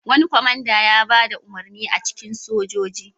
Wani kwamanda ya ba da umarni a cikin sojoji.